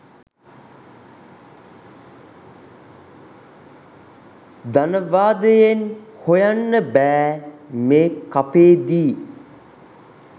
ධනවාදයෙන් හොයන්න බෑ මේ කපේදි.